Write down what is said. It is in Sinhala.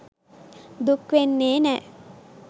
දුක් වෙන්නේ නෑ.